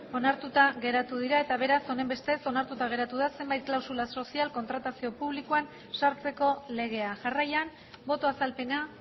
onartuta geratu dira eta beraz honenbestez onartuta geratu da zenbait klausula sozial kontratazio publikoan sartzeko legea jarraian boto azalpena